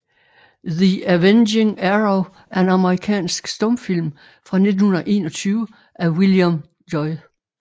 The Avenging Arrow er en amerikansk stumfilm fra 1921 af William J